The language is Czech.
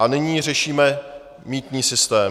A nyní řešíme mýtný systém.